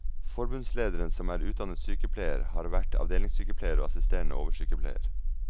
Forbundslederen som er utdannet sykepleier, har vært avdelingssykepleier og assisterende oversykepleier.